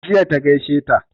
Jiya ta gaishe ta